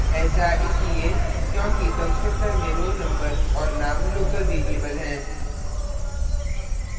ऐसा इसलिए क्योंकि constructor में roll number और name local variables हैं